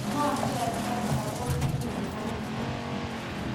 Ng'o chotok ako menye ano?